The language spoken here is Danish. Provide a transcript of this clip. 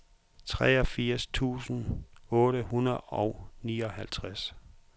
treogfirs tusind otte hundrede og nioghalvtreds